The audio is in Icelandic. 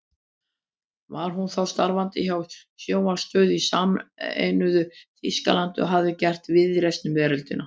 Var hún þá starfandi hjá sjónvarpsstöð í sameinuðu Þýskalandi og hafði gert víðreist um veröldina.